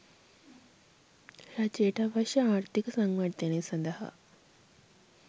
රජයට අවශ්‍ය ආර්ථික සංවර්ධනය සඳහා